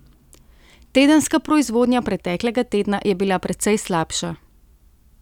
Tedenska proizvodnja preteklega tedna je bila precej slabša.